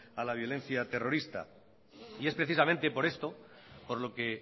a la violencia terrorista y es precisamente por esto por lo que